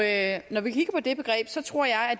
at